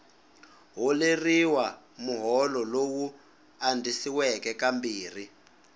holeriwa muholo lowu andzisiweke kambirhi